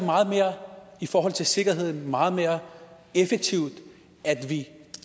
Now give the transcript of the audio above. i forhold til sikkerheden meget mere effektivt at vi